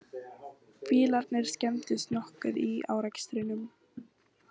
Bílarnir skemmdust nokkuð í árekstrinum